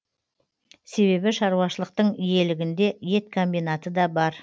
себебі шаруашылықтың иелігінде ет комбинаты да бар